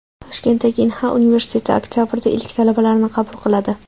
Toshkentdagi Inha universiteti oktabrda ilk talabalarini qabul qiladi.